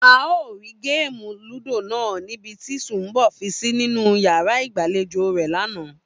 A ò rí géèmù lúdò náà ní ibi tí Su̩nmbò̩ fi sí nínú yàrá ìgbàlejò rè̩ lánàá